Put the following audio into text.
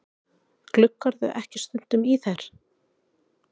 Gluggarðu ekki stundum í þær?